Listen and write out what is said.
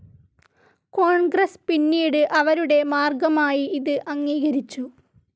കോൺഗ്രസ്‌ പിന്നീട് അവരുടെ മാർഗ്ഗമായി ഇത് അംഗീകരിച്ചു.